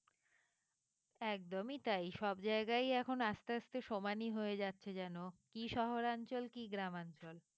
একদমই তাই সব জায়গায় এখন আস্তে আস্তে সমানই হয়ে যাচ্ছে যেন কি শহরাঞ্চল কি গ্রামাঞ্চল।